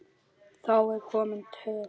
Þá er komin töf.